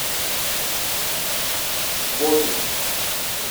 лодин